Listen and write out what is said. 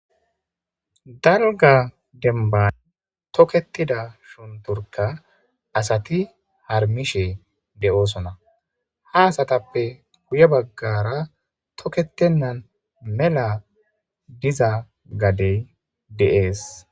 dalga denban toketida shunturka asati harmishe de7oosona ha asatappe guye baggara tokketennan mela diza gadey deees